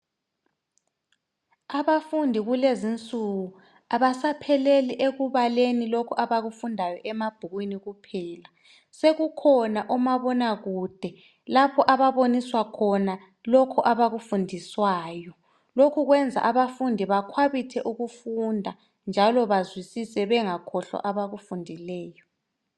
abafundi kulezinsuku abasapheleli kulokho abakufundayo emabhukwini kuphela sekukhona omabona kude lapha ababoniswa khona lokho abafundiswayo lokho kuyenza abafundi ba khwabithe ukufunda njalo bazwisise lokho abakufundisiweyo